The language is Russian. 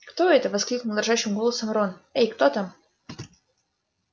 кто это воскликнул дрожащим голосом рон эй кто там